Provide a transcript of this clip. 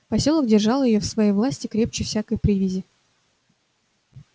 посёлок держал её в своей власти крепче всякой привязи